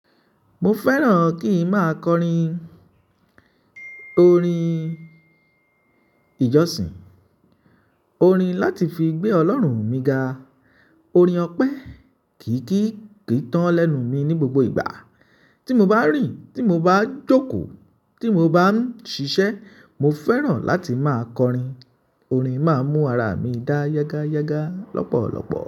Mo fẹ́ràn kí ń máa kọrin. Orin ìjọsìn, orin láti fi gbé Ọlọ́run mi ga, orin ọpẹ. Kì í kì í tán lẹ́nu mi ní gbogbo ìgbà. Tí mo bá ń rìn, tí mo bá ń jókòó, tí mo bá ń ṣiṣẹ́, mo fẹ́ràn láti máa kọrin. Orin máa ń mú ara mi dá yágáyágá lọ́pọ̀lọpọ̀.